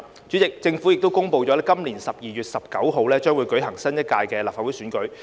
主席，政府已公布今年12月19日將會舉行新一屆的立法會選舉。